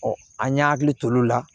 an y'an hakili t'o la